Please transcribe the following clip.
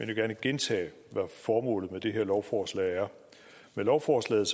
vil gerne gentage hvad formålet med det her lovforslag er med lovforslaget